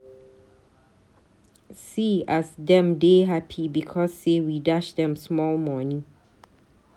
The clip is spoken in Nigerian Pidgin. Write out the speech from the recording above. See as dem dey hapi because say we dash dem small moni.